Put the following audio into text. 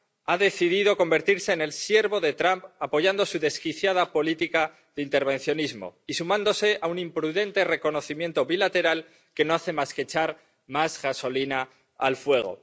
ha decidido convertirse en el siervo de Trump apoyando su desquiciada política de intervencionismo y sumándose a un imprudente reconocimiento bilateral que no hace más que echar más gasolina al fuego.